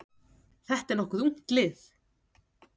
Þetta er nokkuð ungt lið.